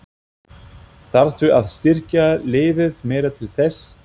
Þarftu að styrkja liðið meira til þess?